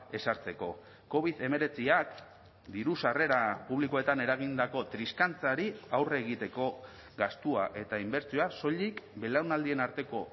ezartzeko covid hemeretziak diru sarrera publikoetan eragindako triskantzari aurre egiteko gastua eta inbertsioa soilik belaunaldien arteko